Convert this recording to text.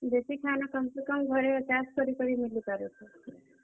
ଦେଶୀ ଖାନା କମ୍ ସେ କମ୍ ଘରେ ଚାଷ୍ କରି କରି ମିଲିପାରୁଛେ।